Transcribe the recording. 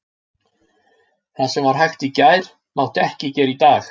Það sem var hægt í gær mátti ekki gera í dag.